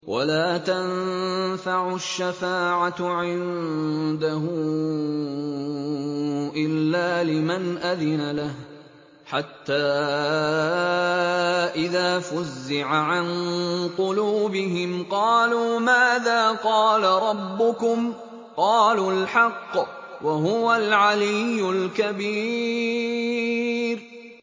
وَلَا تَنفَعُ الشَّفَاعَةُ عِندَهُ إِلَّا لِمَنْ أَذِنَ لَهُ ۚ حَتَّىٰ إِذَا فُزِّعَ عَن قُلُوبِهِمْ قَالُوا مَاذَا قَالَ رَبُّكُمْ ۖ قَالُوا الْحَقَّ ۖ وَهُوَ الْعَلِيُّ الْكَبِيرُ